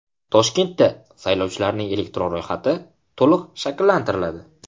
Toshkentda saylovchilarning elektron ro‘yxati to‘liq shakllantiriladi.